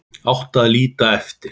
Átti að líta eftir